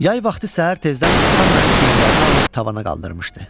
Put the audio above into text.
Yay vaxtı səhər tezdən atam məni çiyinlərinə alıb tavana qaldırmışdı.